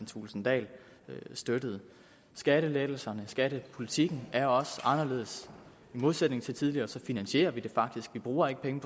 thulesen dahl støttede skattelettelserne skattepolitikken er også anderledes i modsætning til tidligere finansierer vi det faktisk vi bruger ikke penge